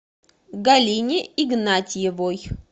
галине игнатьевой